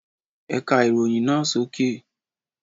Ka ìròyìn náà sókè